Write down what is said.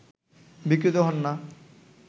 বিক্রীত হন না